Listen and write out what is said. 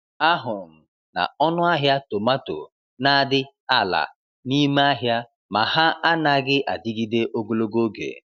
Ahụrụ m na ọnụ ahịa tomato n'adị ala n'ime ahịa, ma ha anaghị adịgide ogologo oge.